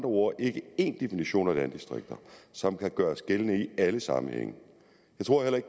ord ikke én definition af landdistrikter som kan gøres gældende i alle sammenhænge